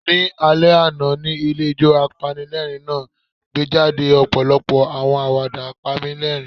Ni alẹ ana, ni ilé ijo, apanilẹrin naa gbejade ọpọlọpọ awọn awada panilerin